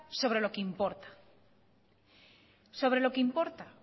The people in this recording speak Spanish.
sobre lo que importa